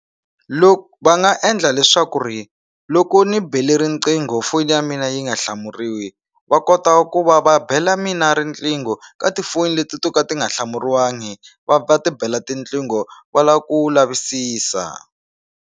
Loko va nga endla leswaku ri loko ni bele riqingho foni ya mina yi nga hlamuriwi va kota ku va va bela mina riqingho ka tifoni leti to ka ti nga hlamuriwangi va va ti bela tiqingho va la ku lavisisa.